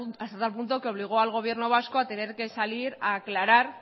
punto que obligó al gobierno vasco a tener que salir a aclarar